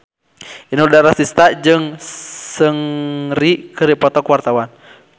Inul Daratista jeung Seungri keur dipoto ku wartawan